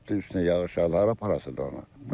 Üstünə yağış yağdı, hara aparasıdır onu?